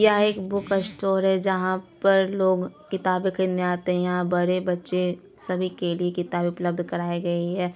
यहाँ एक book store है जहाँ पर लोग किताबे खरीदने आते है यहाँ बड़े बच्चे सभी के लिए किताबे उपलब्ध कराये गए हैं।